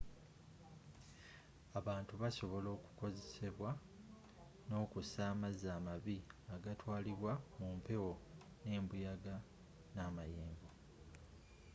abantu basobola okukosebwa nokussa amazzi amabi agatwalibwa mumpewo nembuyaga namayengo